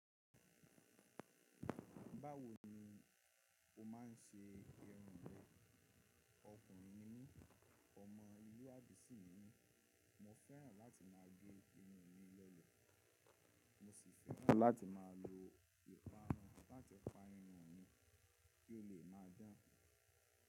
Báwo ni o má n se irun rẹ? Okùnrin ni mí, ọmọ lu abi si ni mi, mo fẹ́ràn láti máa ge irun mi lọlẹ, mo sì fẹ́ràn láti máa lo ìparun lati pa irun mi kí ó lè mọ dan.